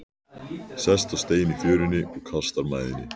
Sest á stein í fjörunni og kastar mæðinni.